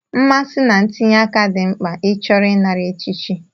Mmasị na ntinye aka dị mkpa ịchọrọ ịnara echichi.